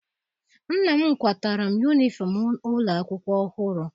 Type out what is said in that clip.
Nna m kwatara m yunifọm ụlọ akwụkwọ ọhụrụ.